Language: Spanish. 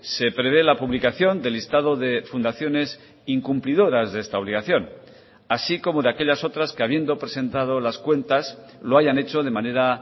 se prevé la publicación del listado de fundaciones incumplidoras de esta obligación así como de aquellas otras que habiendo presentado las cuentas lo hayan hecho de manera